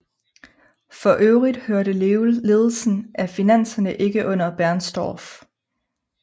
For øvrigt hørte ledelsen af finanserne ikke under Bernstorff